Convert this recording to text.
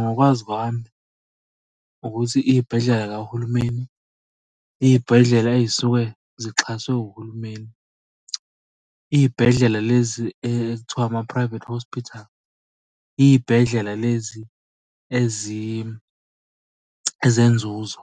Ngokwazi kwami ukuthi iy'bhedlela y'kahulumeni, iy'bhedlela ey'suke zixhaswe uhulumeni. Iy'bhedlela lezi ekuthiwa ama-private hospital iy'bhedlela lezi ezenzuzo